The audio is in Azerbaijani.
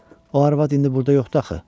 O arvad indi burda yoxdur axı.